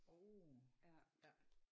Åh ja